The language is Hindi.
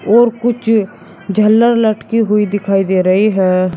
और कुछ झालर लटकी हुई दिखाई दे रही है।